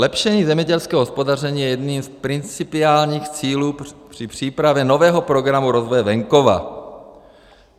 Zlepšení zemědělského hospodaření je jedním z principiálních cílů při přípravě nového Programu rozvoje venkova.